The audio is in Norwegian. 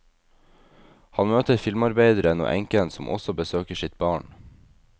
Han møter filmarbeideren og enken som også besøker sitt barn.